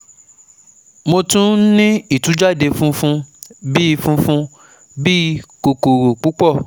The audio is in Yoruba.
Mo tún n ní ìtújáde funfun bí i funfun bí i kòkòrò púpọ̀